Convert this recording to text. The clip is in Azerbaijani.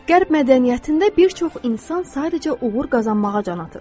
Qərb mədəniyyətində bir çox insan sadəcə uğur qazanmağa can atır.